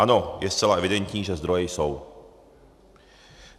Ano, je zcela evidentní, že zdroje jsou.